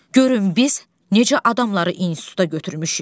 Görün biz necə adamları instituta götürmüşük.